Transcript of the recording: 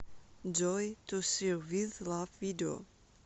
джой ту сир виз лав видео